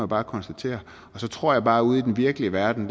bare konstatere og så tror jeg bare at ude i den virkelige verden